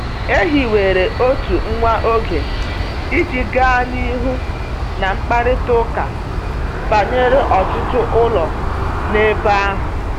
E hiwere otu nwa oge iji gaa n’ihu na mkparịta ụka banyere ọtụtụ ụlọ n’ebe ahụ.